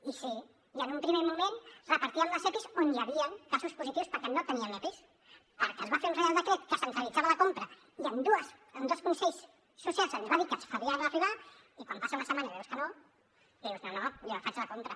i sí en un primer moment repartíem els epis on hi havien casos positius perquè no teníem epis perquè es va fer un reial decret que centralitzava la compra i en dos consells socials se’ns va dir que se’ns farien arribar i quan passa una setmana i veus que no dius no no jo en faig la compra